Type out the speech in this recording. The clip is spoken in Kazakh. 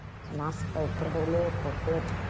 соны асықпай бір бірлеп қойып қоямын